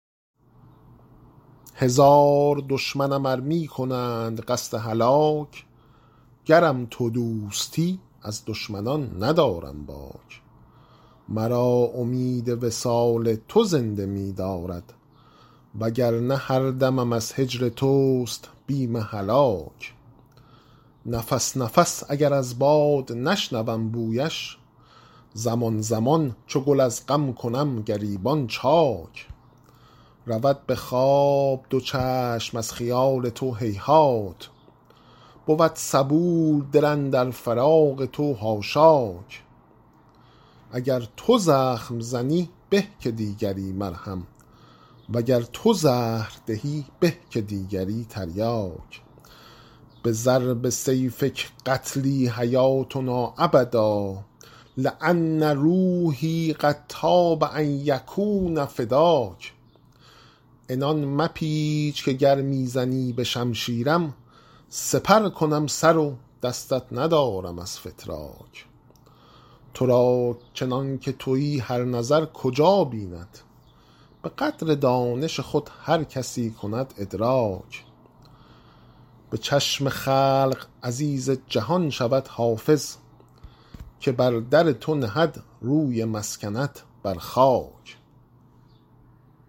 هزار دشمنم ار می کنند قصد هلاک گرم تو دوستی از دشمنان ندارم باک مرا امید وصال تو زنده می دارد و گر نه هر دمم از هجر توست بیم هلاک نفس نفس اگر از باد نشنوم بویش زمان زمان چو گل از غم کنم گریبان چاک رود به خواب دو چشم از خیال تو هیهات بود صبور دل اندر فراق تو حاشاک اگر تو زخم زنی به که دیگری مرهم و گر تو زهر دهی به که دیگری تریاک بضرب سیفک قتلی حیاتنا ابدا لأن روحی قد طاب ان یکون فداک عنان مپیچ که گر می زنی به شمشیرم سپر کنم سر و دستت ندارم از فتراک تو را چنان که تویی هر نظر کجا بیند به قدر دانش خود هر کسی کند ادراک به چشم خلق عزیز جهان شود حافظ که بر در تو نهد روی مسکنت بر خاک